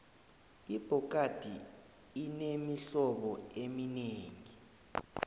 ibhokadi inemihlobo eminengi